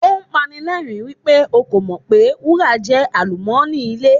Ó pani lẹ́rìń wípé o kò mọ̀ pé wúrà jẹ́ àlùmọ́nì ilẹ̀.